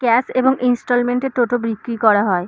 Cash এবং instalment এ টোটো বিক্রি করা হয়।